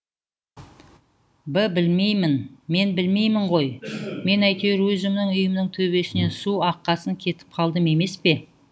б білмеймін мен білмеймін ғой мен әйтеуір өзімнің үйімнің төбесінен су аққасын кетіп қалдым емес пе